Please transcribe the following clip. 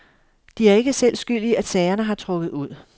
De er ikke selv skyld i, at sagerne har trukket ud.